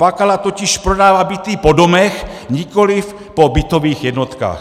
Bakala totiž prodává byty po domech, nikoliv po bytových jednotkách.